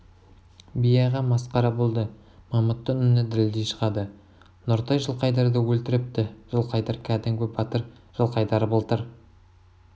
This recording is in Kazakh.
би аға масқара болды мамыттың үні дірілдей шығады нұртай жылқайдарды өлтіріпті жылқайдар кәдімгі батыр жылқайдар былтыр